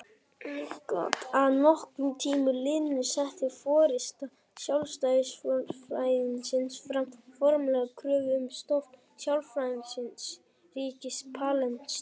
Að nokkrum tíma liðnum setti forysta sjálfstjórnarsvæðisins fram formlega kröfu um stofnun sjálfstæðs ríkis Palestínu.